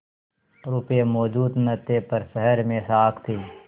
रुपये मौजूद न थे पर शहर में साख थी